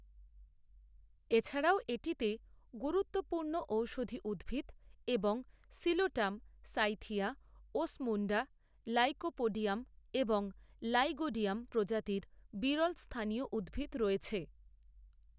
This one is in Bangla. এছাড়াও এটিতে গুরুত্বপূর্ণ ঔষধি উদ্ভিদ এবং সিলোটাম, সাইথিয়া, ওসমুন্ডা, লাইকোপোডিয়াম এবং লাইগোডিয়াম প্রজাতির বিরল স্থানীয় উদ্ভিদ রয়েছে।